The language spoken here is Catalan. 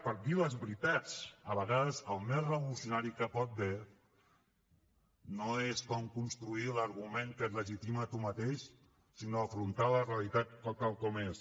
per dir les veritats a vegades el més revolucionari que hi pot haver no és com construir l’argument que et legitima a tu mateix sinó afrontar la realitat tal com és